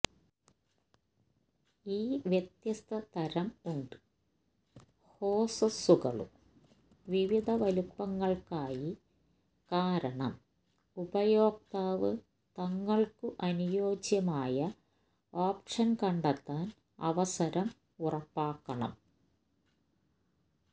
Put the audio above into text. ഈ വ്യത്യസ്ത തരം ഉണ്ട് ഹോസസുകളും വിവിധ വലുപ്പങ്ങൾക്കായി കാരണം ഉപയോക്താവ് തങ്ങൾക്കു അനുയോജ്യമായ ഓപ്ഷൻ കണ്ടെത്താൻ അവസരം ഉറപ്പാക്കണം